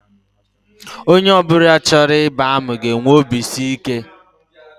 Onye ọ bụla chọrọ ịba amị ga-enwe obisiike